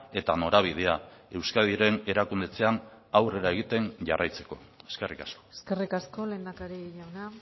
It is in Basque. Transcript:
eta norabidea euskadiren erakundetzean aurrera egiten jarraitzeko eskerrik asko eskerrik asko lehendakari jauna